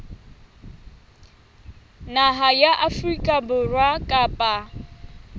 naha ya afrika borwa kapa